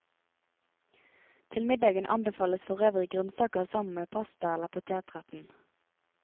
Til middagen anbefales forøvrig grønnsaker sammen med pasta eller potetretten.